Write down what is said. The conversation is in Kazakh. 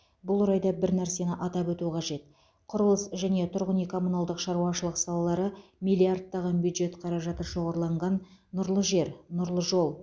бұл орайда бір нәрсені атап өту қажет құрылыс және тұрғын үй коммуналдық шаруашылық салалары миллиардтаған бюджет қаражаты шоғырланған нұрлы жер нұрлы жол